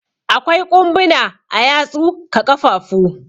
Akwai ƙumbuna a yatsu ka ƙafafu.